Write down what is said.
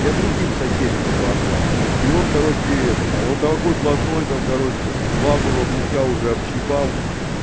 я другим соседям его отдал и он короче этот он такой блатной там короче главного гуся уже общипал